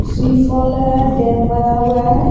सी fall है dam बना हुआ है।